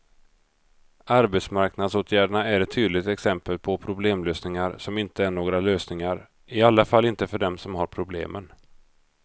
Arbetsmarknadsåtgärderna är ett tydligt exempel på problemlösningar som inte är några lösningar, i alla fall inte för dem som har problemen.